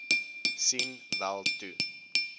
sien wel toe